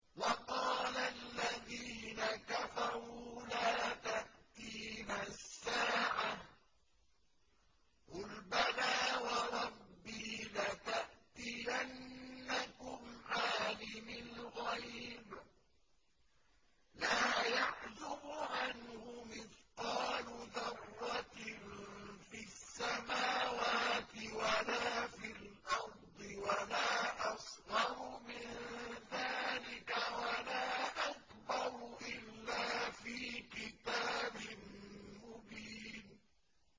وَقَالَ الَّذِينَ كَفَرُوا لَا تَأْتِينَا السَّاعَةُ ۖ قُلْ بَلَىٰ وَرَبِّي لَتَأْتِيَنَّكُمْ عَالِمِ الْغَيْبِ ۖ لَا يَعْزُبُ عَنْهُ مِثْقَالُ ذَرَّةٍ فِي السَّمَاوَاتِ وَلَا فِي الْأَرْضِ وَلَا أَصْغَرُ مِن ذَٰلِكَ وَلَا أَكْبَرُ إِلَّا فِي كِتَابٍ مُّبِينٍ